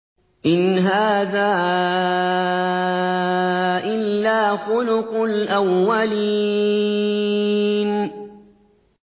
إِنْ هَٰذَا إِلَّا خُلُقُ الْأَوَّلِينَ